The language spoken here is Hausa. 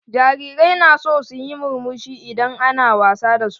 Jarirai na son yin murmushi idan ana wasa da su.